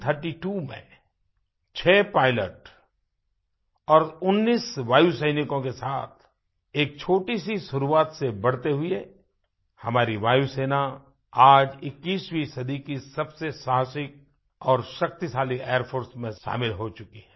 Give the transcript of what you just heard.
1932 में छह पायलट और 19 वायु सैनिकों के साथ एक छोटी सी शुरुआत से बढ़ते हुए हमारी वायुसेना आज 21वीं सदी की सबसे साहसिक और शक्तिशाली एयर फोर्स में शामिल हो चुकी है